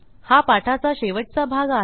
हा पाठाचा शेवटचा भाग आहे